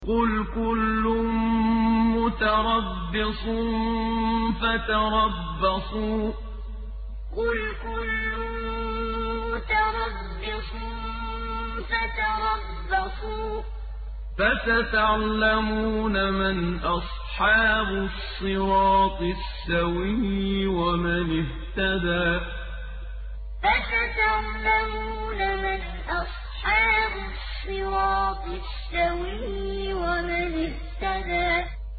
قُلْ كُلٌّ مُّتَرَبِّصٌ فَتَرَبَّصُوا ۖ فَسَتَعْلَمُونَ مَنْ أَصْحَابُ الصِّرَاطِ السَّوِيِّ وَمَنِ اهْتَدَىٰ قُلْ كُلٌّ مُّتَرَبِّصٌ فَتَرَبَّصُوا ۖ فَسَتَعْلَمُونَ مَنْ أَصْحَابُ الصِّرَاطِ السَّوِيِّ وَمَنِ اهْتَدَىٰ